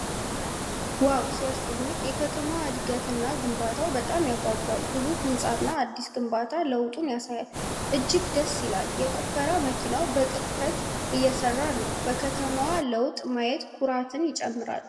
ዋው ሲያስደንቅ! የከተማዋ እድገት እና ግንባታው በጣም ያጓጓል። ግዙፉ ህንጻና አዲስ ግንባታ ለውጡን ያሳያል። እጅግ ደስ ይላል! የቆፈራ መኪናው በቅጥፈት እየሰራ ነው። በከተማዋ ለውጥ ማየት ኩራትን ያጭራል።